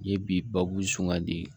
N ye bi babu sungadi